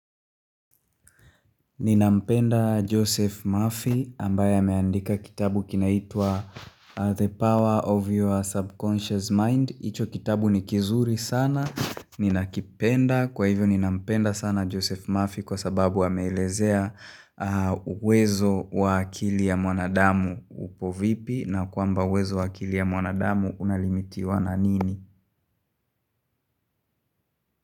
Ninampenda Joseph Murphy ambaye ameandika kitabu kinaitwa The Power of Your Subconscious Mind Icho kitabu ni kizuri sana, ninakipenda kwa hivyo ninampenda sana Joseph Murphy kwa sababu amelezea uwezo wa akili ya mwanadamu upo vipi na kwamba uwezo wa akili ya mwanadamu unalimitiwa na nini?